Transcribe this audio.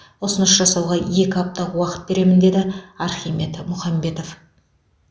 ұсыныс жасауға екі апта уақыт беремін деді архимед мұхамбетов